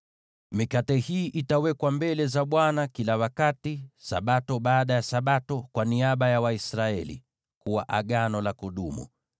Mikate hii itawekwa mbele za Bwana kila wakati, Sabato baada ya Sabato, kwa niaba ya Waisraeli, kuwa Agano la kudumu.